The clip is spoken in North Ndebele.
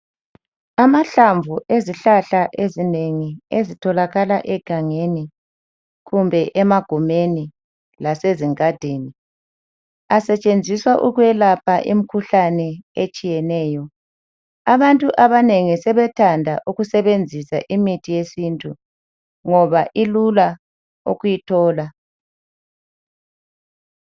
Amahlamvu ezihlahla ezinengi ezitholakala egangeni kumbe emagumeni lasezingadini, asetshenziswa ukwelapha imkhuhlane etshiyeneyo. Abantu abanengi sebethanda ukusebenzisa imithi yesintu, ngoba ilula ukuyithola.